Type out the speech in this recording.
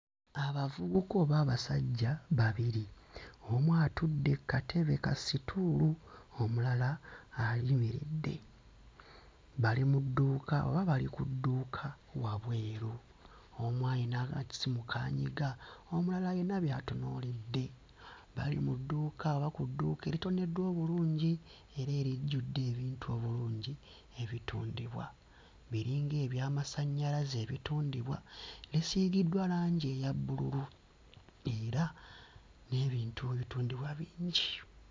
Abavubuka oba abasajja babiri, omu atudde kkatebe kastool, omulala ayimiridde, bali mu dduuka oba bali ku dduuka wabweru omu ayina akasimu k'anyiga omulala ayina by'atunuulidde, bali mu dduuka oba ku dduuka eritoneddwa obulungi era erijjudde ebintu obulungi ebitundibwa, biringa eby'amasannyalaze ebitundibwa bisiigiddwa langi eya bbululu n'ebintu ebitundibwa bingi.